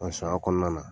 O sariya kɔnɔna na